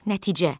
Nəticə.